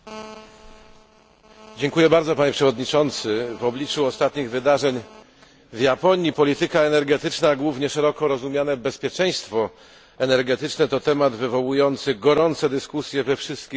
W obliczu ostatnich wydarzeń w Japonii polityka energetyczna, a głównie szeroko rozumiane bezpieczeństwo energetyczne, to temat wywołujący gorące dyskusje we wszystkich zakątkach naszego globu.